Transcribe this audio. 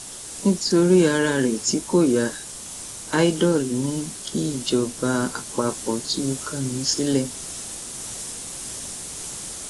nítorí ara rẹ tí kò ya idol ni kí ìjọba àpapọ tú kánú sílẹ